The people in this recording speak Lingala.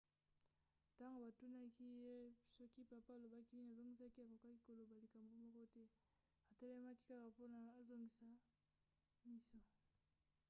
ntango batunaki ye soki papa alobaki nini azongisaki akokaki koloba likambo moko te - atelemaki kaka wana azoningisa miso.